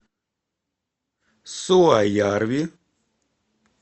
суоярви